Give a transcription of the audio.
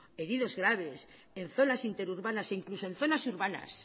heridos graves en zonas interurbanas e incluso en zonas urbanas